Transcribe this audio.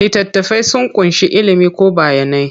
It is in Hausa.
Littattafai sun ƙunshi ilimi ko bayanai.